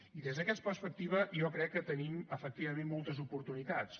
i des d’aquesta perspectiva jo crec que tenim efectivament moltes oportunitats